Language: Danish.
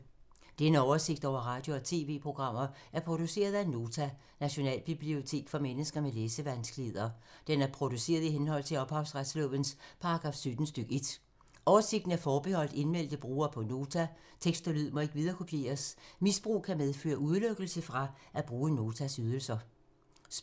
Denne oversigt over radio og TV-programmer er produceret af Nota, Nationalbibliotek for mennesker med læsevanskeligheder. Den er produceret i henhold til ophavsretslovens paragraf 17 stk. 1. Oversigten er forbeholdt indmeldte brugere på Nota. Tekst og lyd må ikke viderekopieres. Misbrug kan medføre udelukkelse fra at bruge Notas ydelser.